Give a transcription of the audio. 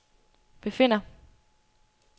befinder